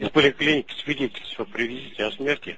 из поликлиники свидетельство привезите о смерти